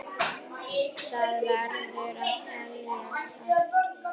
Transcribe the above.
Það verður að teljast afrek.